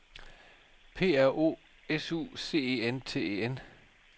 P R O S U C E N T E N